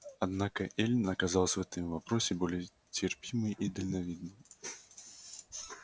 однако эллин оказалась в этом вопросе более терпимой и дальновидной